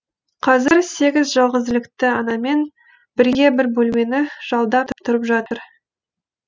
қазір сегіз жалғызілікті анамен бірге бір бөлмені жалдап тұрып жатыр